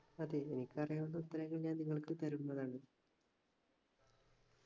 അതെ എനിക്കറിയാവുന്ന ഉത്തരങ്ങൾ ഞാൻ നിങ്ങൾക്ക് തരുന്നതാണ്